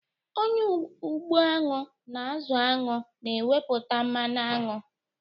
Onye ugbo añwụ na-azụ añwụ na-ewepụta mmanụ añwụ.